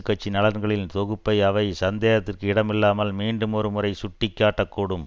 கட்சி நலன்களின் தொகுப்பை அவை சந்தேகத்திற்கு இடமில்லாமல் மீண்டுமொரு முறை சுட்டிக்காட்ட கூடும்